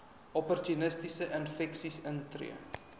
opportunistiese infeksies intree